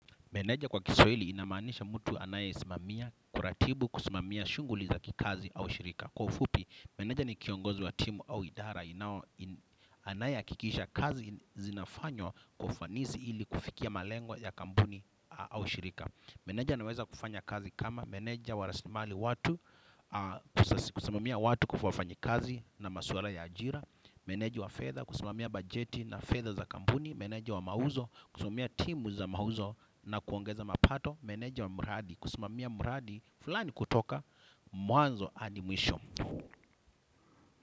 Meneja kwa kiswahili inamaanisha mutu anayeisimamia, kuratibu, kusimamia shunguli za kikazi au shirika. Kwa ufupi, meneja ni kiongozi wa timu au idara inao anaye akikisha kazi zinafanywa kwa ufanisi ili kufikia malengwa ya kampuni au shirika. Meneja naweza kufanya kazi kama meneja wa raslimali watu, kusimamia watu kufuafanyi kazi na masuara ya ajira. Meneji wa fedha, kusimamia bajeti na fedhaza kampuni. Meneja wa mauzo kusmamia timu za mauzo na kuongeza mapato. Meneji wa muradi, kusimamia muradi fulani kutoka mwanzo adi mwisho.